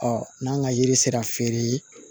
Ɔ n'an ka yiri sera feere